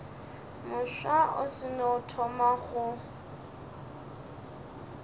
mofsa o seno thoma go